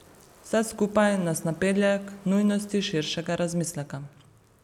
Vse skupaj nas napelje k nujnosti širšega razmisleka.